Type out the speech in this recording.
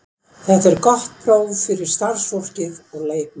Þetta er gott próf fyrir starfsfólkið og leikmenn.